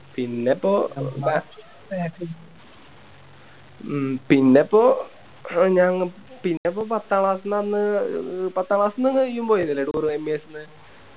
പിന്നപ്പോ ഉം പിന്നപ്പോ ഞാ പിന്നപ്പോ പത്താം Class ന്ന് അന്ന് പത്താം Class ന്ന് ഇയ്യും പോയിന്നില്ലേ ToureMES ന്ന്